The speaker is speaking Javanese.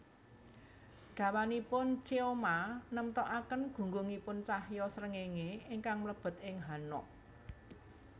Dawanipun cheoma nemtokaken gunggungipun cahya srengéngé ingkang mlebet ing hanok